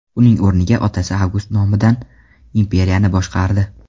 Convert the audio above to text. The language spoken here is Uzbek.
Uning o‘rniga otasi Avgust nomidan imperiyani boshqardi.